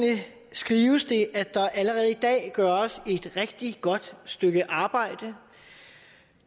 skrives det at der allerede i dag gøres et rigtig godt stykke arbejde